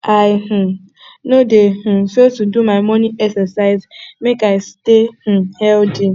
i um no dey um fail to do my morning exercise make i stay um healthy